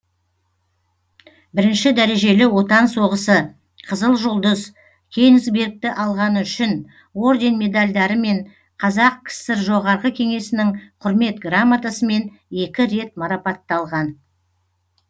бірінші дәрежелі отан соғысы қызыл жұлдыз кенигсбергті алғаны үшін орден медальдарымен қазақ кср жоғарғы кеңесінің құрмет грамотасымен екі рет марапатталған